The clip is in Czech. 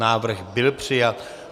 Návrh byl přijat.